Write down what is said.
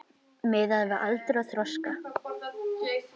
Miðað við aldur og þroska.